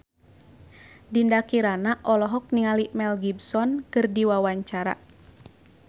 Dinda Kirana olohok ningali Mel Gibson keur diwawancara